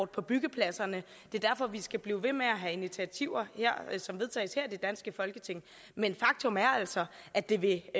på byggepladserne det er derfor vi skal blive ved med at have initiativer som vedtages her i det danske folketing men faktum er altså at det det